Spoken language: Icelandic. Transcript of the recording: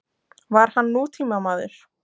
Var hann nútímamaður?